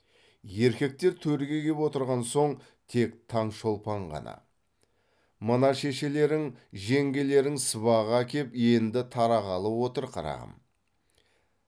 еркектер төрге кеп отырған соң тек таңшолпан ғана мына шешелерің жеңгелерің сыбаға әкеп енді тарағалы отыр қарағым